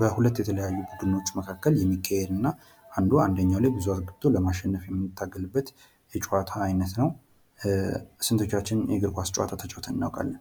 በሁለት የተለያዩ ቡድኖች መካከል የሚካሄድ እና አንዱ አንዱ ላይ ብዙ አግብቶ በማሸነፍ የሚታገልበት የጨዋታ አይነት ነው። ስንቶቻችን የእግር ኳስ ጨዋታ ተጫውተን አናቃለን?